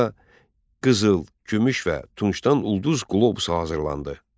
Burda qızıl, gümüş və tuncdan ulduz qlobusu hazırlandı.